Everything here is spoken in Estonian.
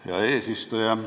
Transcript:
Hea eesistuja!